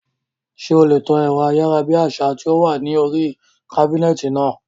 Ṣé o lè tan ẹ̀rọ ayárabíàṣá tí ó wà ní oríi kábínẹ̀tì náà?